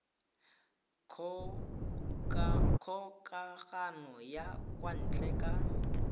kgokagano ya kwa ntle ka